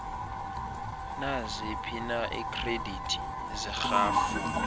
naziphina iikhredithi zerhafu